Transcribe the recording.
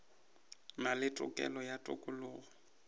na le tokelo ya tokologo